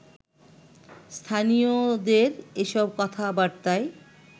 স্থানীয়দের এসব কথাবার্তায়